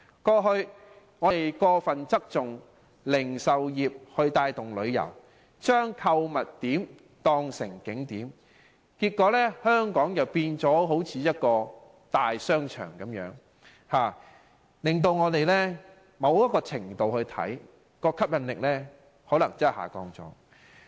過去，我們過分側重讓零售業帶動旅遊，將購物點當成景點，結果香港變成一個大型商場。某程度上，我們的吸引力下降了。